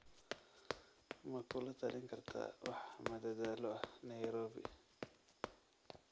ma kula talin kartaa wax madadaalo ah nairobi